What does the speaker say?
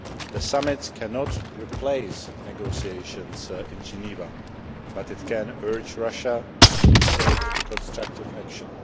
The summit cannot replace negotiations in Geneva, but it can urge Russia to take constructive action.